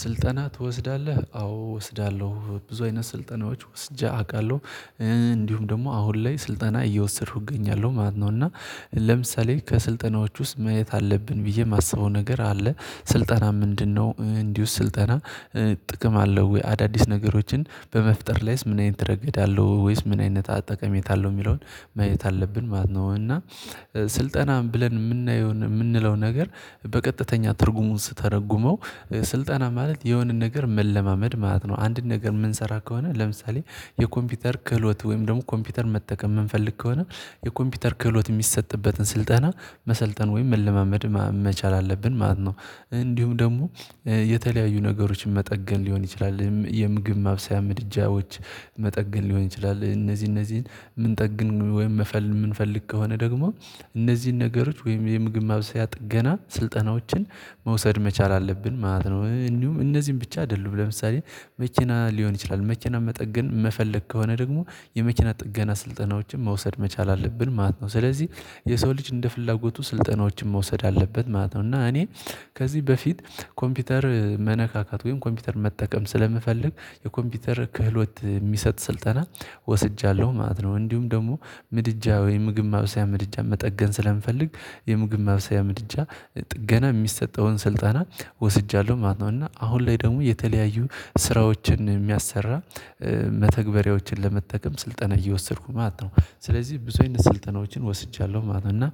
ስልጠና ትወስዳለህ? አዎ ወስዳለሁ። ብዙ አይነት ስልጠናዎች ወስጄ አውቃለሁ። እንዲሁም ደግሞ አሁን ላይ ስልጠና እየወሰድኩ እገኛለሁ ማለት ነው። እና ለምሳሌ ከስልጠናዎች ውስጥ ማየት አለብን ብዬ ማስበው ነገር አለ። ስልጠና ምንድነው እንዲሁ ስልጠና ጥቅም አለው ወይ? አዳዲስ ነገሮችን በመፍጠር ላይስ ምን አይነት ረገድ አለው? ወይስ ምን አይነት ጠቀሜታ አለው? ሚለውን ማየት አለብን ማለት ነው። እና ስልጠና ብለን ምናየው ምንለው ነገር በቀጥተኛ ትርጉሙ ስተረጉመው ስልጠና ማለት የሆነን ነገር መለማመድ ማለት ነው። አንድን ነገር ምንሰራ ከሆነ ለምሳሌ የኮምፒውተር ክህሎት ወይም ደግሞ ኮምፒውተር መጠቀም ምንፈልግ ከሆነ የኮምፒውተር ክህሎት ሚሰጥበትን ስልጠና መሰልጠን ወይም መለማመድ መቻል አለብን ማለት ነው። እንዲሁም ደግሞ የተለያዩ ነገሮችን መጠገን ሊሆን ይችላል የምግብ ማብሰያ ምድጃዎች መጠገን ሊሆን ይችላል። እነዚህ እነዚህን የምንጠግን ወይም መፈል የምንፈልግ ከሆነ ደግሞ እነዚህን ነገሮች ወይም የምግብ ማብሰያ ጥገና ስልጠናዎችን መውሰድ መቻል አለብን ማለት ነው። እኒሁም እነዚህን ብቻ አይደሉም ለምሳሌ መኪና ሊሆን ይችላል መኪና መጠገን መፈለግ ከሆነ ደግሞ የመኪና ጥገና ስልጠናዎችን መውሰድ መቻል አለብን ማለት ነው። ስለዚህ የሰው ልጅ እንደ ፍላጎቱ ስልጠናዎችን መውሰድ አለበት ማለት ነው። እና እኔ ከዚህ በፊት ኮምፒውተር መነካካት ወይም ኮምፒውተር መጠቀም ስለምፈልግ የኮምፒውተር ክህሎት ሚሰጥ ስልጠና ወስጃለሁ ማለት ነው። እንዲሁም ደግሞ ምድጃ ወይ ምግብ ማብሰያ ምድጃ መጠገን ስለምፈልግ የምግብ መብሰያ ምድጃ ጥገና የሚሰጠውን ስልጠና ወስጃለሁ ማለት ነው። እና አሁን ላይ ደግሞ የተለያዩ ስራዎችን ሚያሰራ መተግበሪያዎችን ለመጠቀም ስልጠና እየወሰድኩ ነው ማለት ነው። ስለዚህ ብዙ አይነት ስልጠናዎችን ወስጃለሁ ማለት ነው። እና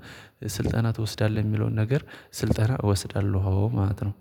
ስልጠና ትወስዳለህ? ሚለውን ነገር ስልጠና እወስዳለሁ አዎ ማለት ነው።